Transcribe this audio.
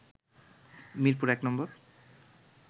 Mirpur নম্বর